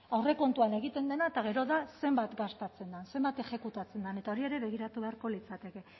aurrekontuan egiten dena eta gero da zenbat gastatzen den zenbat exekutatzen den eta hori ere begiratu beharko litzateke